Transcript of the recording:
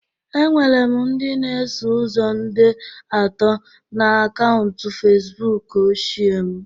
Enwere m ndị na-eso ụzọ nde atọ na akaụntụ Facibụkụ ochie m